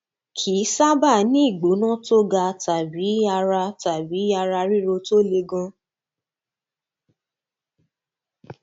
kì í sábà ní ìgbóná tó ga tàbí ara tàbí ara ríro tó le gan